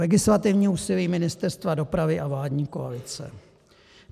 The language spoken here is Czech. Legislativní úsilí Ministerstva dopravy a vládní koalice.